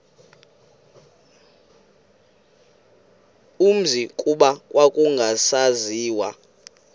umzi kuba kwakungasaziwa